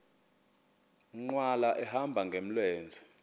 nkqwala ehamba ngamlenze